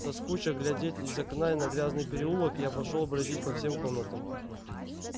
соскуча глядеть из окна и на грязный переулок я пошёл бродить по всем комнатам